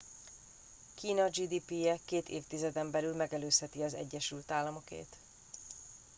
kína gdp je két évtizeden belül megelőzheti az egyesült államokét